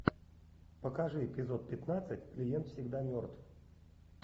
покажи эпизод пятнадцать клиент всегда мертв